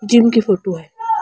Gym की photo है।